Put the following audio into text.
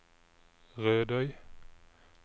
Rødøy